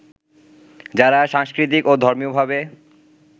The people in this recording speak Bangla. যারা সাংস্কৃতিক ও ধর্মীয়ভাবে